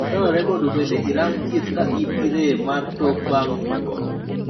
Dwarore mondo bende irang thieth ka in gi rem mar tok bang' hinyruok